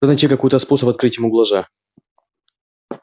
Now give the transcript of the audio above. надо найти какой-то способ открыть ему глаза